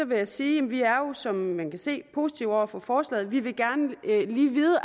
vil jeg sige at vi som man kan se er positive over for forslaget vi vil gerne lige vide